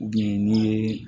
ni ye